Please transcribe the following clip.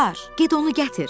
Get onu gətir.